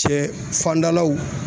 Sɛ fandalaw